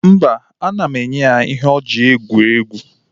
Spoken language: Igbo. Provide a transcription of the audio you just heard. Mba, ana m enye ya ihe o ji egwu egwuregwu.